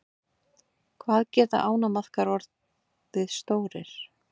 Hvað geta ánamaðkar orðið stórir?